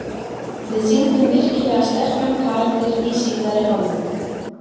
Við sýndum virkilega sterkan karakter í síðari hálfleik.